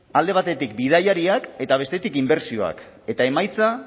alde batetik bidaiariak eta bestetik inbertsioak eta emaitza